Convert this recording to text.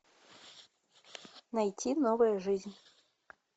найти новая жизнь